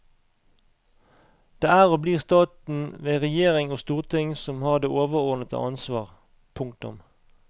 Det er og blir staten ved regjering og storting som har det overordnede ansvar. punktum